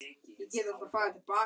Afi bað ömmu að giftast sér.